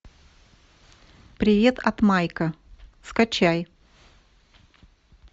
привет от майка скачай